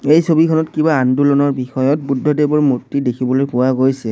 এই ছবিখনত কিবা আন্দোলনৰ বিষয়ত বুদ্ধদেৱৰ মূতি দেখিবলৈ পোৱা গৈছে।